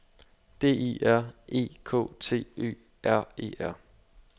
D I R E K T Ø R E R